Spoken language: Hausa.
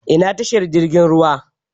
Ina tashar jirgin ruwa?